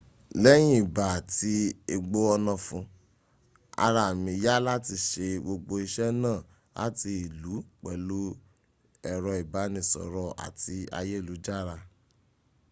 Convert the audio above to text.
leyin iba ati egbo onafun araa mi ya lati se gbogbo ise naa lati ilu pelu ero ibanisoro ati ayelujara